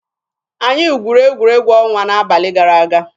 Anyị gwuru egwuregwu ọnwa n'abalị gara aga.